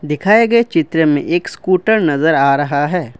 दिखाए गए चित्र में एक स्कूटर नजर आ रहा है।